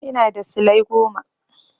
Ina da silai goma.